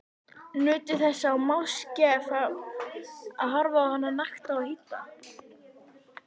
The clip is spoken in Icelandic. Nutu þess máske að horfa á hana nakta og hýdda.